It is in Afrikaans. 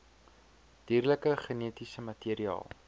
dierlike genetiese materiaal